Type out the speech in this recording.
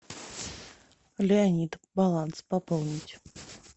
леонид баланс пополнить